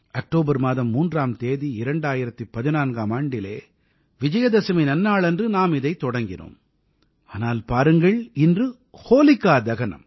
October மாதம் 3ஆம் தேதி 2014ஆம் ஆண்டிலே விஜயதசமி நன்னாளன்று நாம் இதைத் தொடங்கினோம் ஆனால் பாருங்கள் இன்று ஹோலிகா தகனம்